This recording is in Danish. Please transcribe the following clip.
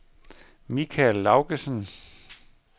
Mikael Laugesen